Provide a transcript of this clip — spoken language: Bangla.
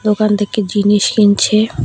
দোকান থেকে জিনিস কিনছে।